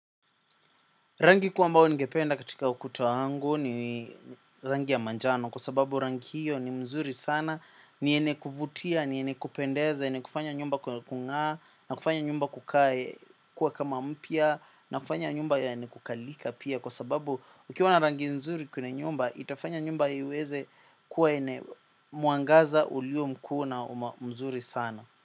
Rangi kuu ambao ningependa katika ukuta wangu ni rangi ya manjano kwa sababu rangi hiyo ni mzuri sana, ni yene kuvutia, ni yene kupendeza, yene kufanya nyumba kuna kungaa, na kufanya nyumba kukae kuwa kama mpya, na kufanya nyumba yene kukalika pia kwa sababu ukiwa na rangi mzuri kwene nyumba, itafanya nyumba iweze kuwa yene muangaza ulio mkuu na mzuri sana.